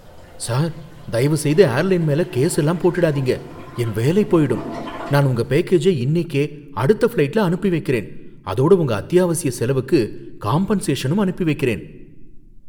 Sir, தயவுசெய்து airline மேல case எல்லாம் போட்டிடாதீங்க, என் வேலை போயிடும். நான் உங்க பேக்கேஜை இன்னிக்கே அடுத்த ஃபிளைட்ல அனுப்பி வைக்கறேன், அதோட உங்க அத்தியாவசிய செலவுக்கு காம்பன்சேஷனும் அனுப்பி வைக்கறேன்